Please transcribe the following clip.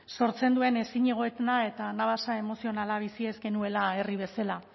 sortzen duen ezinegona eta anabasa emozionala bizi ez genuela herri bezala